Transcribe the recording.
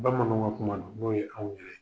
Bamananw ka kuma don, n'o ye anw yɛrɛ ye.